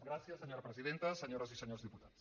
gràcies senyora presidenta senyores i senyors diputats